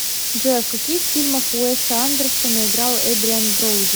джой в каких фильмах уэса андерсона играл эдриан броуди